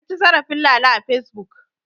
An ci zarafin Lala a Fesbuk.